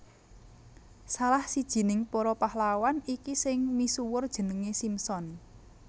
Salah sijining para pahlawan iki sing misuwur jenengé Simson